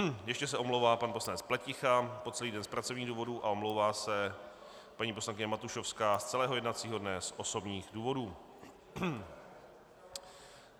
Ještě se omlouvá pan poslanec Pleticha po celý den z pracovních důvodu a omlouvá se paní poslankyně Matušovská z celého jednacího dne z osobních důvodů.